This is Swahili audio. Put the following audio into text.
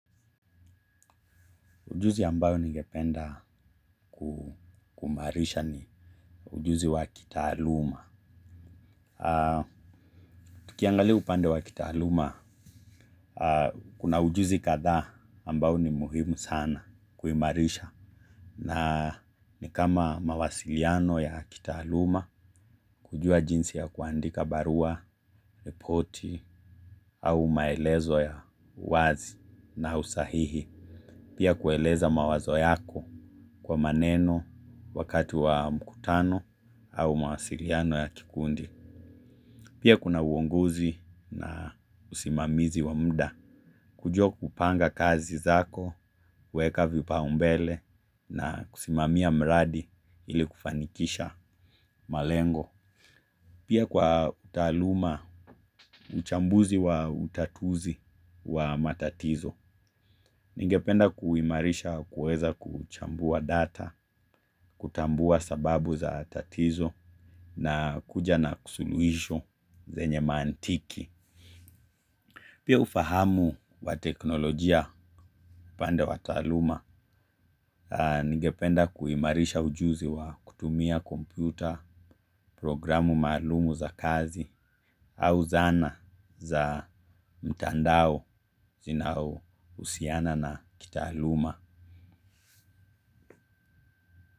Ujuzi ambayo ningependa kumarisha ni ujuzi wa kitahaluma. Tukiangali upande wa kitahaluma. Kuna ujuzi katha ambayo ni muhimu sana kuhimarisha. Na ni kama mawasiliano ya kitahaluma. Kujua jinsi ya kuandika barua, ripoti au maelezo ya wazi na usahihi. Pia kueleza mawazo yako kwa maneno wakati wa mkutano. Au mawasiliano ya kikundi. Pia kuna uongozi na usimamizi wa muda. Kujua kupanga kazi zako, weka vipa umbele na kusimamia mradi ili kufanikisha malengo. Pia kwa utaluma, uchambuzi wa utatuzi wa matatizo. Ningependa kuimarisha kuweza kuchambua data, kutambua sababu za tatizo na kuja na kusuluisho zenye mantiki. Pia ufahamu wa teknolojia upande wa taaluma, ningependa kuimarisha ujuzi wa kutumia kompyuta programu maalum za kazi au zana za mtandao zinaohusiana na kitaaluma.